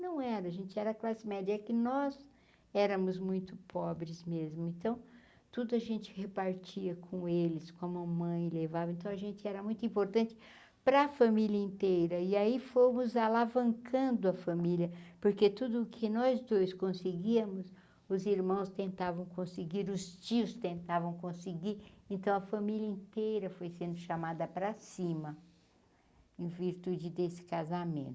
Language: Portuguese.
Não era, a gente era classe média é que nós éramos muito pobres mesmo, então tudo a gente repartia com eles, com a mãe levava, então a gente era muito importante para a família inteira, e aí fomos alavancando a família, porque tudo o que nós dois conseguíamos, os irmãos tentavam conseguir, os tios tentavam conseguir, então a família inteira foi sendo chamada para cima, em virtude desse casamento.